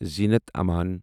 زینت اَمان